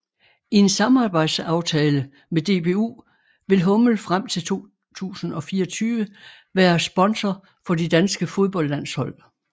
I en samarbejdsaftale med DBU vil hummel frem til 2024 være sponsor for de danske fodboldlandshold